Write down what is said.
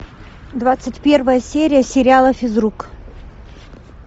двадцать первая серия сериала физрук